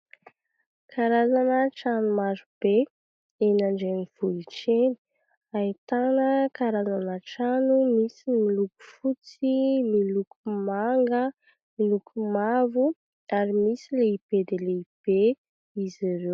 Karazana trano maro be eny an-drenivohitra eny, ahitana karazana trano misy ny miloko fotsy, miloko manga, miloko mavo ary misy lehibe dia lehibe izy ireo.